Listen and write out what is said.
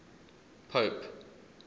pope